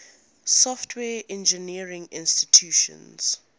software engineering institute